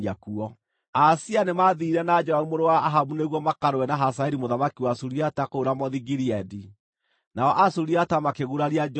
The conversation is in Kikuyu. Ahazia nĩmathiire na Joramu mũrũ wa Ahabu nĩguo makarũe na Hazaeli mũthamaki wa Suriata kũu Ramothu-Gileadi. Nao Asuriata makĩguraria Joramu;